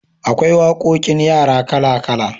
Akwai waƙoƙin yara kala kala